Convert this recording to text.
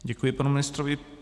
Děkuji panu ministrovi.